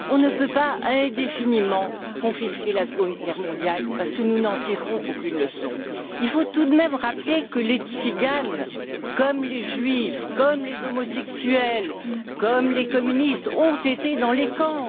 On ne peut pas indéfiniment confisquer la Seconde Guerre mondiale, parce que nous n'en tirerons aucune leçon. Il faut tout de même rappeler que les tziganes, comme les juifs, les homosexuels ou les communistes, ont été dans les camps.